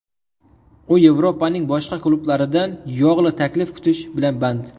U Yevropaning boshqa klublaridan yog‘li taklif kutish bilan band.